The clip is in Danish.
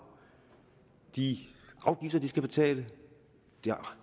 de afgifter de skal betale det